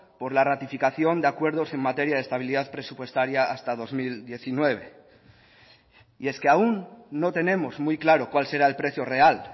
por la ratificación de acuerdos en materia de estabilidad presupuestaria hasta dos mil diecinueve y es que aún no tenemos muy claro cuál será el precio real